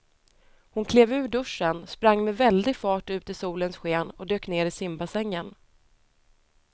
Hon klev ur duschen, sprang med väldig fart ut i solens sken och dök ner i simbassängen.